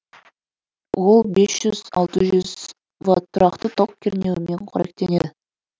ол без жүз алты жүз в тұрақты ток кернеуімен қоректенеді